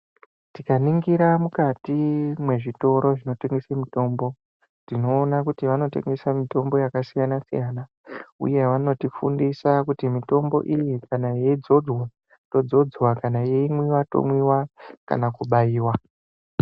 Tikaningira mukati mwezvitoro zvinotengesa mitombo, tinoona kuti vanotengesa mitombo yakasiyana-siyana, uye vanotifundisa kuti mitombo iyi, kana yeyidzodzwa yodzodzwa, kana yeyimwiwa, yomwiwa kana kubayiwa.